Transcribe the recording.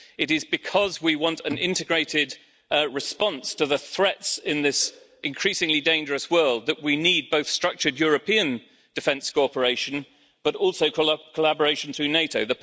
It is because we want an integrated response to the threats in this increasingly dangerous world that we need both structured European defence cooperation and also collaboration through NATO.